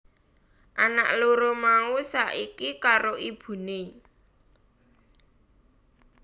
Anak loro mau saiki karo ibuné